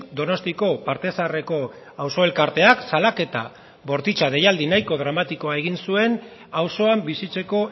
donostiako parte zaharreko auzo elkarteak salaketa bortitza deialdi nahiko dramatikoa egin zuen auzoan bizitzeko